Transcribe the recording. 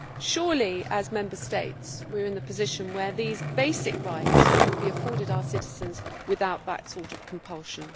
Surely, as Member States, we are in a position where these basic rights will be afforded our citizens without that sort of compulsion.